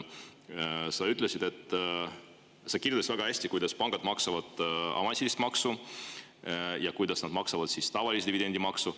Sa kirjeldasid väga hästi, kuidas pangad maksavad avansilist maksu ja kuidas nad maksavad tavalist dividendimaksu.